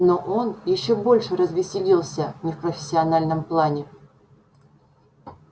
но он ещё больше развеселился не в профессиональном плане